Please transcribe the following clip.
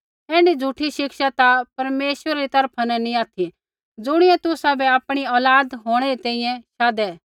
ऐण्ढी झ़ूठी शिक्षा ता परमेश्वरा री तरफा न नैंई ऑथि ज़ुणियै तुसाबै आपणी औलाद होंणै री तैंईंयैं शाधै